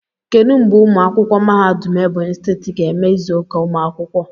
Kedu mgbe ụmụ akwụkwọ mahadum Ebonyi steeti ga-eme izuka umu akwukwo?